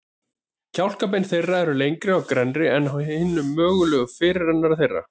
Kjálkabein þeirra eru lengri og grennri en á hinum mögulega fyrirrennara þeirra.